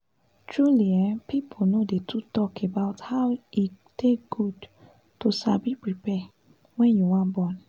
truly ehpeople no dey too talk about how e take good to sabi prepare wen u wan born